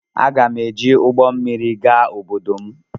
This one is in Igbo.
M ga-eji ụgbọ mmiri gaa obodo m